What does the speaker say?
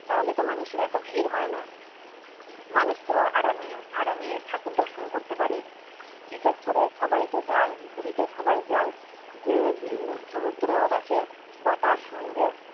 তাহলে তো মানুষের এত ভিড় হয়না মানুষ তো আরামে আরামে ঠাকুর দর্শন করতে পারে বিশেষ করে সবাইতো যায় পুরীতে সবাই যায় যে সমুদ্র ও দেখে বা তার সঙ্গে